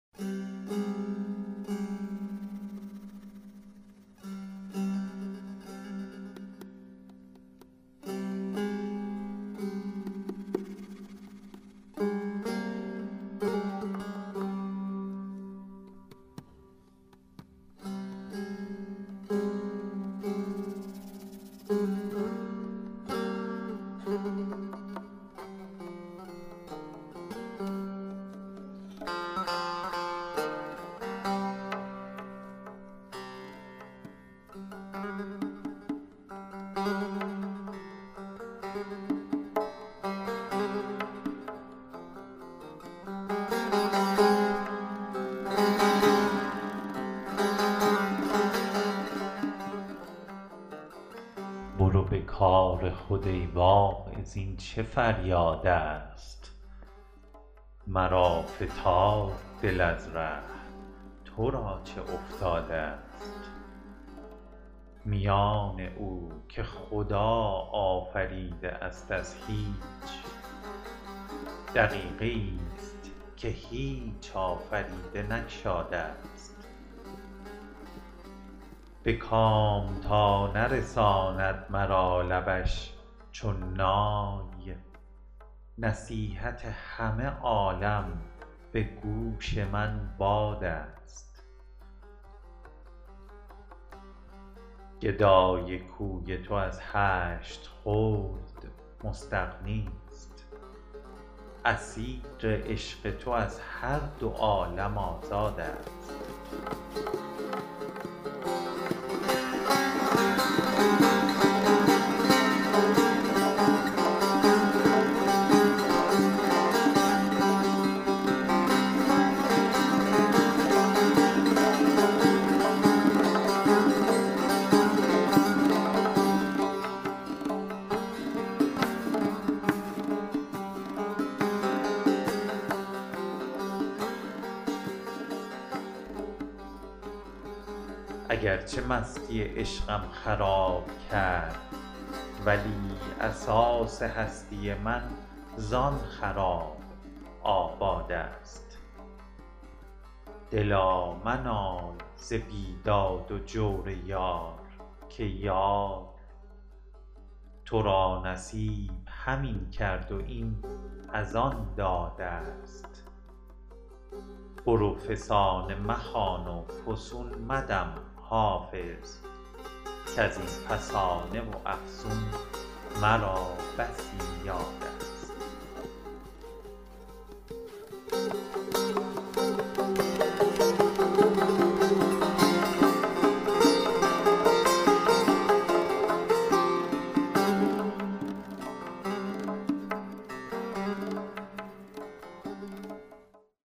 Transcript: برو به کار خود ای واعظ این چه فریادست مرا فتاد دل از ره تو را چه افتادست میان او که خدا آفریده است از هیچ دقیقه ای ست که هیچ آفریده نگشادست به کام تا نرساند مرا لبش چون نای نصیحت همه عالم به گوش من بادست گدای کوی تو از هشت خلد مستغنی ست اسیر عشق تو از هر دو عالم آزادست اگر چه مستی عشقم خراب کرد ولی اساس هستی من زآن خراب آبادست دلا منال ز بیداد و جور یار که یار تو را نصیب همین کرد و این از آن دادست برو فسانه مخوان و فسون مدم حافظ کز این فسانه و افسون مرا بسی یادست